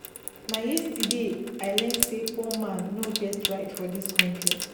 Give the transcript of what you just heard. Na yesterday I learn sey poor man no get right for dis country.